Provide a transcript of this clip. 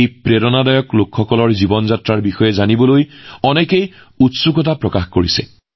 এই প্ৰেৰণাদায়ক লোকসকলৰ জীৱন যাত্ৰাৰ বিষয়ে জানিবলৈ সমগ্ৰ দেশতে কৌতুহলৰ সৃষ্টি হৈছে